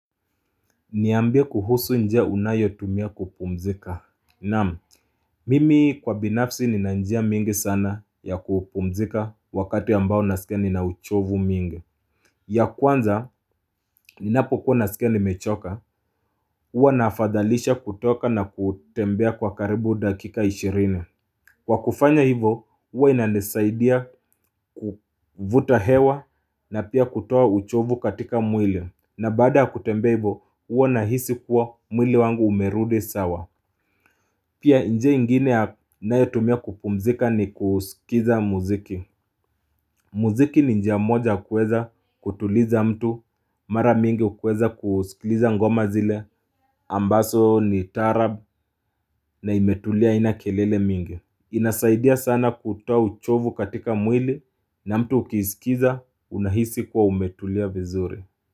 Niambia kuhusu njea unayo tumia kupumzika. Naam, mimi kwa binafsi nina njia mingi sana ya kupumzika wakati ambao nasikeni na uchovu mingi. Ya kwanza, ninapokuwa nasikia nimechoka, uwa nafadhalisha kutoka na kutembea kwa karibu dakika ishirine. Kwa kufanya hivo, uwa inanezaidia kufuta hewa na pia kutowa uchovu katika mwili. Na bada kutembea hivo nahisi kuwa mwili wangu umerudi sawa. Pia njia ingine naetumia kukumzika ni kusikiza muziki. Muziki ni njia moja kueza kutuliza mtu, mara mingi kueza kusikiliza ngoma zile, ambazo ni tarabu na imetulia haina kelele mingi. Inazaidia sana kutoa uchovu katika mwili na mtu ukisikiza unahisi kuwa umetulia vizuri.